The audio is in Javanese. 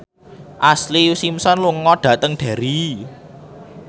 Ashlee Simpson lunga dhateng Derry